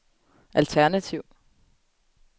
alternativ